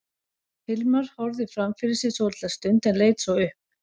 Hilmar horfði fram fyrir sig svolitla stund en leit svo upp.